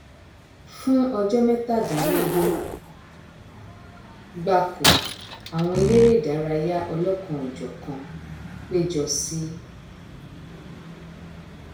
fún ọjọ mẹtàdínlógún gbáko àwọn eléré idárayá ọlọkanòjọkan péjọ sí